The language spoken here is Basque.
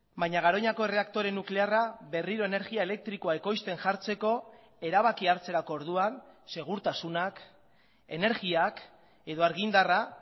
baina garoñako erreaktore nuklearra berriro energia elektrikoa ekoizten jartzeko erabakia hartzerako orduan segurtasunak energiak edo argindarra